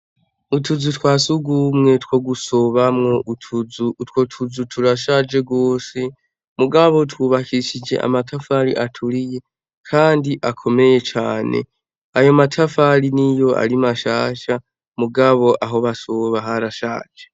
Utuzu twasugumwe twogusobamwo utwotuzu turashaje gose mugabo twubakishije amatafari aturiye kandi akomeye cane ayomatafari niyo ari mashasha mugabo ahobasoba harashaje